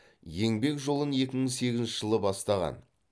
еңбек жолын екі мың сегізінші жылы бастаған